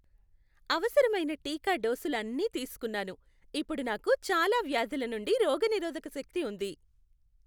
అవసరమైన టీకా డోసులు అన్నీ తీసుకున్నాను. ఇప్పుడు నాకు చాలా వ్యాధుల నుండి రోగనిరోధక శక్తి ఉంది.